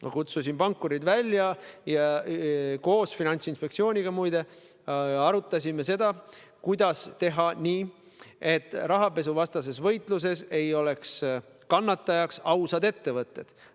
Ma kutsusin pankurid välja ja arutasime koos Finantsinspektsiooniga seda, kuidas teha nii, et rahapesuvastases võitluses ei oleks kannatajaks ausad ettevõtted.